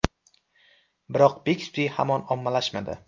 Biroq Bixby hamon ommalashmadi.